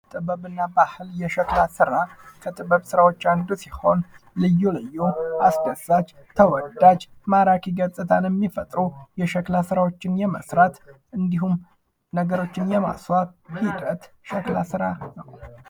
ጥበብና ባህል የሸክላ ስራ ከጥበብ ስራዎች አንዱ ሲሆን ልዩ ልዩ አስደሳች፣ ተወዳጅ፣ ማራኪ ገጽታን የሚፈጥሩ የሸክላ ስራዎችን የመስራት እንዲሁም ነገሮችን የማስዋብ ሂደት ሸክላ ስራ ይባላል።